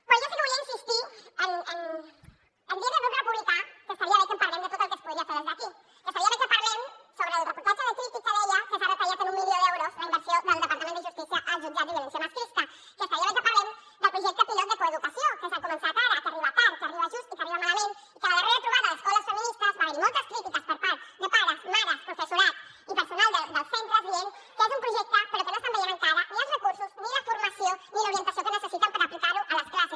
però jo sí que volia insistir en dir li al grup republicà que estaria bé que parlem de tot el que es podria fer des d’aquí que estaria bé que parlem sobre el reportatge de crític que deia que s’ha retallat en un milió d’euros la inversió del departament de justícia als jutjats de violència masclista que estaria bé que parlem del projecte pilot de coeducació que s’ha començat ara que arriba tard que arriba just i que arriba malament i que a la darrera trobada d’escoles feministes va haver hi moltes crítiques per part de pares mares professorat i personal dels centres que deien que és un projecte però que no estan veient encara ni els recursos ni la formació ni l’orientació que necessiten per aplicar ho a les classes